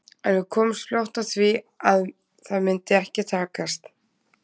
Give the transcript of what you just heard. En við komumst fljótt að því að það myndi ekki takast.